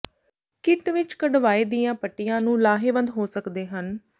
kit ਵਿਚ ਕਢਵਾਏ ਦੀਆਂ ਪੱਟੀਆਂ ਨੂੰ ਲਾਹੇਵੰਦ ਹੋ ਸਕਦੇ ਹਨ